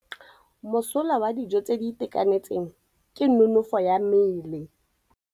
Mosola wa dijô tse di itekanetseng ke nonôfô ya mmele.